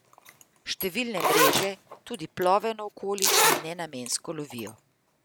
Številne mreže tudi plovejo naokoli in nenamensko lovijo.